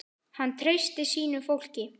Hann treysti sínu fólki.